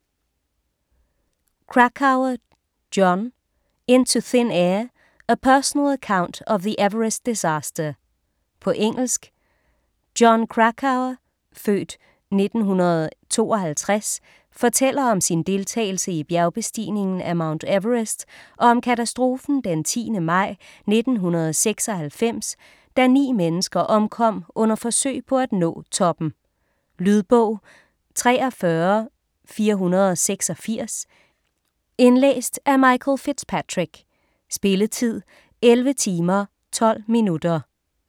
Krakauer, Jon: Into thin air: a personal account of the Everest disaster På engelsk. Jon Krakauer (f. 1952) fortæller om sin deltagelse i bestigningen af Mount Everest og om katastrofen den 10. maj 1996, da 9 mennesker omkom under forsøg på at nå toppen. Lydbog 43486 Indlæst af Michael FitzPatrick. Spilletid: 11 timer, 12 minutter.